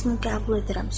Hamısını qəbul edirəm.